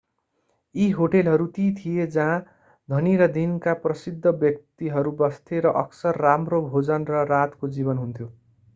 यी होटलहरू ती थिए जहाँ धनी र दिनका प्रसिद्ध व्यक्तिहरू बस्थे र अक्सर राम्रो भोजन र रातको जीवन हुन्थ्यो